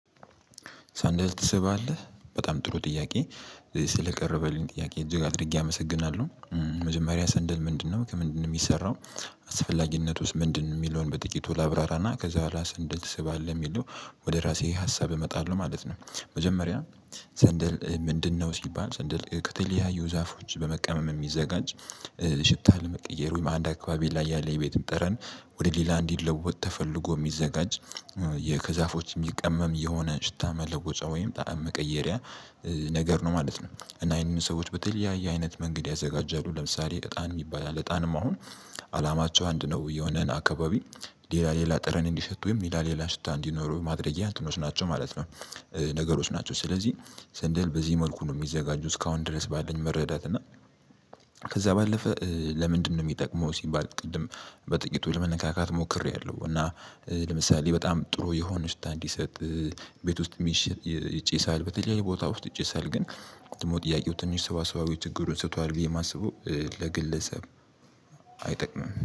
ሳንደል ትስባለህ በጣም ጥሩ ጥያቄ ስለቀረበልኝ ጥያቄ እጅግ አድርጌ አመሰግናለሁ። መጀመሪያ ሰንደል ምንድነው ከምንድነው የሚሰራው? አስፈላጊነት ውስጥ ምንድነው የሚለውን በጥቂቱ ላብራራና ከዛ በኋላ ሰንደል ትስባለህ የሚለው ወደ ራሴ ሀሳብ እመጣለሁ ማለት ነው። መጀመሪያ ሰንድል ምንድን ነው? ሲባል ሰንድል ከተለያዩ ዛፎች በመቀመም የሚዘጋጅ። ሽታ ለመቀየር ወይም አንድ አካባቢ ላይ ያለ የቤትም ጠረን ወደ ሌላ እንዲለወጥ ተፈልጎ የሚዘጋጅ። ከዛፎች የሚቀመም የሆነ ሽታ መለወጫ ወይም ጣዕም መቀየሪያ ነገር ነው ማለት ነው። እና ይሄንን ሰዎች በተለያየ አይነት መንገድ ያዘጋጃሉ ለምሳሌ እጣን የሚባል አለ። እጣንም አሁን አላማቸው አንድ ነው የሆነን አካባቢ ሌላ ሌላ ጥረን እንዲሸቱ ወይም ሌላ ሌላ ሽታ እንዲኖሩ ማድረጊያ እንትኖች ናቸው ማለት ነው። ነገሮች ናቸው ስለዚህ ስንድል በዚህ መልኩ ነው የሚዘጋጁ እስካሁን ድረስ ባለኝ መረዳት እና። ከዛ ባለፈ ለምንድነው የሚጠቅመው? ሲባል ቅድም በጥቂቱ ለመነካካት ሞክሬያለሁ። እና ለምሳሌ በጣም ጥሩ የሆነ ሽታ እንዲሰጥ ቤት ውስጥ ይጨሳል በተለይ ቦታ ውስጥ ይጨሳል። ግን ጥያቄው ትንሽ ሰዋሰዋዊ ችግሩን ስቷል ብዬ የማስበው ለግለሰብ አይጠቅምም